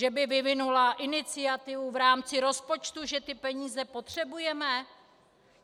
Že by vyvinula iniciativu v rámci rozpočtu, že ty peníze potřebujeme?